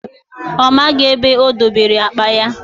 Ọ maghị ebe o dobere akpa ya